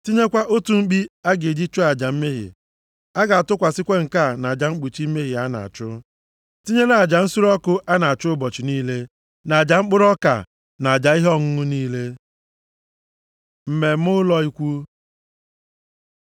Tinyekwa otu mkpi a ga-eji chụọ aja mmehie. A ga-atụkwasị nke a nʼaja mkpuchi mmehie a na-achụ, tinyere aja nsure ọkụ a na-achụ ụbọchị niile, na aja mkpụrụ ọka, na aja ihe ọṅụṅụ niile. Mmemme Ụlọ Ikwu